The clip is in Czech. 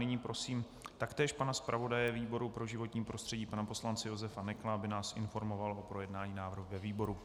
Nyní prosím taktéž pana zpravodaje výboru pro životní prostředí pana poslance Josefa Nekla, aby nás informoval o projednání návrhu ve výboru.